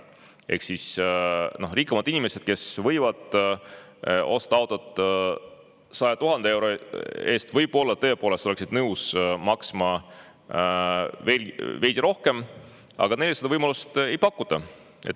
Ehk siis rikkamad inimesed, kes võivad osta auto 100 000 euro eest, võib-olla tõepoolest oleksid nõus maksma veel veidi rohkem, aga neile seda võimalust ei pakuta.